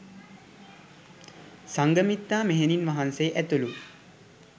සංඝමිත්තා මෙහෙණින් වහන්සේ ඇතුළු